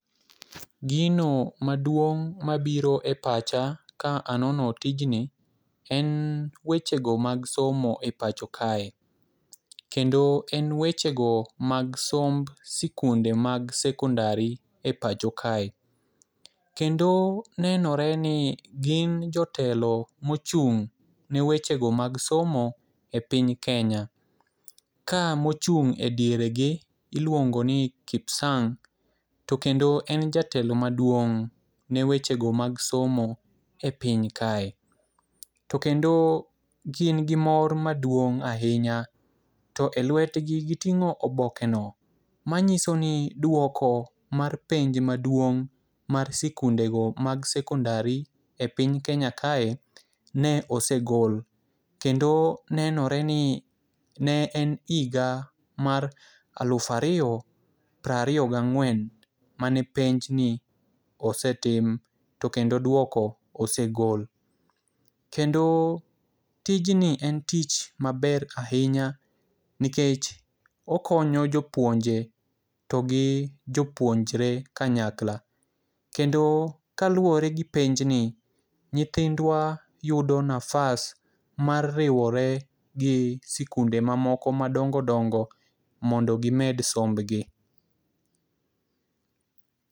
Gino maduong' mabiro e pacha ka anono tijni en wechego mag somo epacho kae, kendo en wechego mag somb sikunde mag sekondari e pacho kae. kendo nenore ni gin jotelo mochung' ne wechego mag somo e piny Kenya ,ka mochung' e dier gi iluongo ni Kipsang',to kendo en jatelo maduong' ne wechego mag somo e piny kae. To kendo gin gi mor maduong' ahinya to e lwetgi giting'o obokeno manyiso ni dwoko mar penj maduong' mar sikundego mag sekondari e piny Kenya kae ne osegol, kendo nenore ni ne en higa mar aluf ariyo prariyo gang'wen mane penjni osetim, to kendo dwoko osegol. Kendo tijni en tich maber ahinya nikech okonyo jopuonje to gi jopuonjre kanyakla, kendo kaluwore gi penjni ,nyithindwa yudo nafas mar riwore gi sikunde moko madongo dongo mondo gimed sombgi.